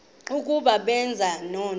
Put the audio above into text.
ukuba benza ntoni